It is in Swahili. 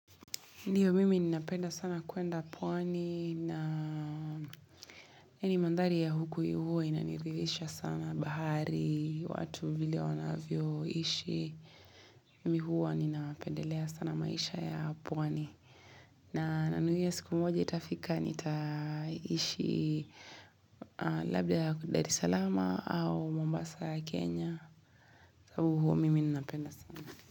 Ndio, mimi ninapenda sana kuenda pwani, na hii mandhari ya huku huwa inanirithisha sana bahari, watu vile wanavyoishi. Mimi huwa ninapendelea sana maisha ya pwani. Na nanuia siku moji itafika, nitaishi labda ya Dar Salaama au Mombasa ya Kenya. Sababu huo, mimi ninapenda sana.